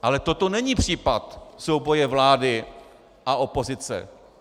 Ale toto není případ souboje vlády a opozice.